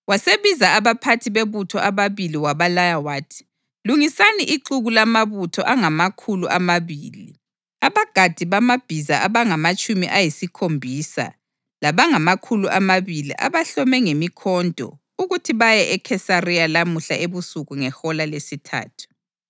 Wasebiza abaphathi bebutho ababili wabalaya wathi, “Lungisani ixuku lamabutho angamakhulu amabili, abagadi bamabhiza abangamatshumi ayisikhombisa labangamakhulu amabili abahlome ngemikhonto ukuthi baye eKhesariya lamuhla ebusuku ngehola lesithathu.